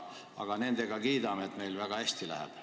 Aga nüüd me kiidame, et meil läheb väga hästi.